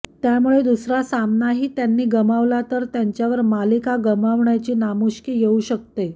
त्यामुळे दुसरा सामनाही त्यांनी गमावला तर त्यांच्यावर मालिका गमावण्याची नामुष्की येऊ शकते